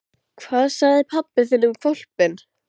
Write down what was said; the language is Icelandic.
Hvað sagði pabbi þinn um hvolpinn?